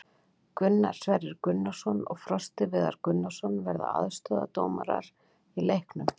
Gunnar Sverrir Gunnarsson og Frosti Viðar Gunnarsson verða aðstoðardómarar í leiknum.